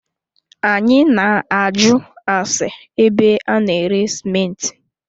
Anyị na ajụ ase ébé a na-ere simenti